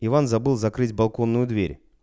иван забыл закрыть балконную дверь